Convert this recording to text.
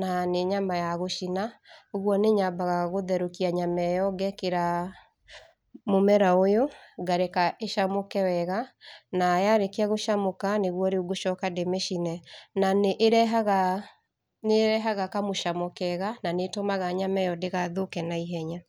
na nĩ nyama ya gũcina, ũguo nĩ nyambaga gũtherũkia nyama ĩyo ngekĩra mũmera ũyũ, ngareka ũcamũke wega, na yarĩkia gũcemũka, nĩguo riũ ngũcoka ndĩmĩcine na nĩ ĩrehaga kamucamo kega na nĩtũmaga nyama ĩyo ndĩgathũke na ihenya.